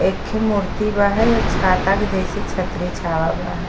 एखे मूर्ति बा हय और छाता के जैसे छतरी छावा हय।